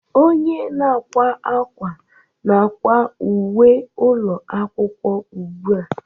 Onye na-akwa akwa na-akwa uwe ụlọ akwụkwọ ugbu a